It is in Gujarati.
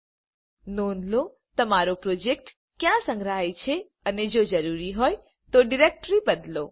હવે નોંધ લો તમારો પ્રોજેક્ટ ક્યાં સંગ્રહાય છે અને જો જરૂરી હોય તો ડિરેક્ટરી બદલો